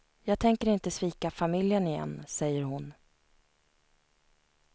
Jag tänker inte svika familjen igen, säger hon.